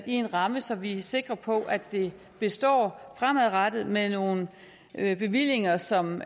i en ramme så vi er sikre på at det består fremadrettet med nogle bevillinger som